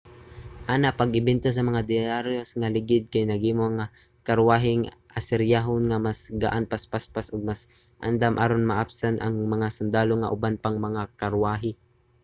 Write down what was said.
ana pag-imbento sa mga derayos nga ligid kay naghimo sa mga karwaheng asiryanhon nga mas gaan mas paspas ug mas andam aron maapsan ang mga sundalo ug uban pang mga karwahe